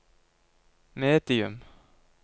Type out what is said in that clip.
medium